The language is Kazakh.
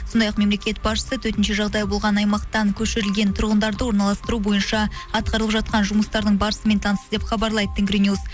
сондай ақ мемлекет басшысы төтенше жағдай болған аймақтан көшірілген тұрғындарды орналастыру бойынша атқарылып жатқан жұмыстардың барысымен танысты деп хабарлайды тенгринюс